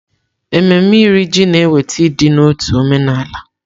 Ememme Iri Ji na-eweta ịdị n'otu omenala.